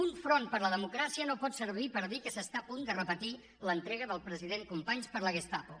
un front per la democràcia no pot servir per dir que s’està a punt de repetir l’entrega del president companys per la gestapo